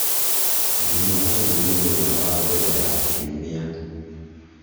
jumatatu nĩ mũthenya wa mbere ya kiumia